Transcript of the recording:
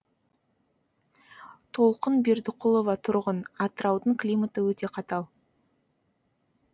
толқын бердіқұлова тұрғын атыраудың климаты өте қатал